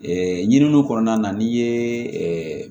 ɲininiw kɔnɔna na n'i ye